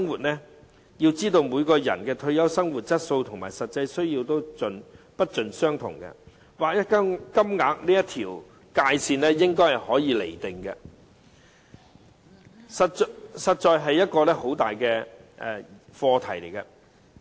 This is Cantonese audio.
我們要知道，每個人的退休生活質素和實際需要都不盡相同，劃一金額這條界線應如何釐定，實在是一個很大的課題。